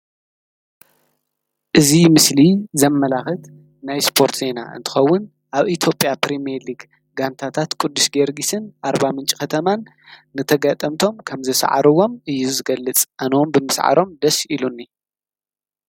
እዚ ምስሊ ዘመላኽት ናይ ስፖርት ዜና እንትኸውን ኣብ ኢትዮጵያ ፕሪሚየር ሊግ ጋንታታት ቅዱስ ጊዮርጊስን ኣርባምንጭ ከተማን ንተጋጠምቶም ከምዝሰዓርዎም እዩ ዝገልፅ ኣነ እውን ብምስዓሮም ደስ ኢሉኒ።